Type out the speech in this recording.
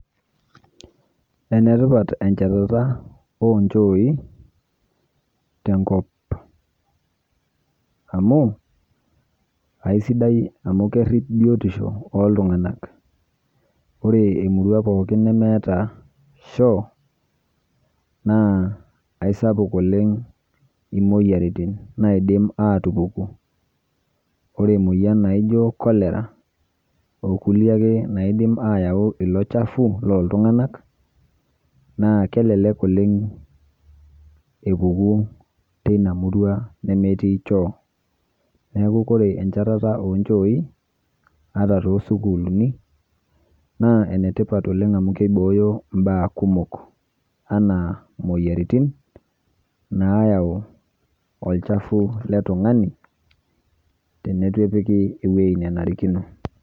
Enetipat enchetata oo nchooi tenkop amu, aisidai amu kerrip biotisho oltunganak. Ore emurua pookin nemeeta shoo naa aisapuk oleng imoyaritin naaidim aatupuku. Ore emuoyian naijo kolera okulie ake naaidim ayau ilo chafu loltung'anak naa kelelek oleng' epuku teina murua nemetii choo. Neaku kore enchetata o  nchooi ata too sukuluni naa enetipat oleng' amu keibooyo imbaa kumok anaa moyaritin naayau olchafu le tung'ani teneitu epiki ewuei nenarikino.